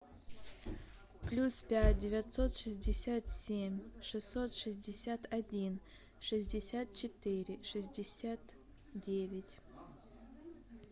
плюс пять девятьсот шестьдесят семь шестьсот шестьдесят один шестьдесят четыре шестьдесят девять